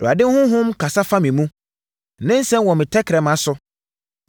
“ Awurade honhom kasa fa me mu; ne nsɛm wɔ me tɛkrɛma so.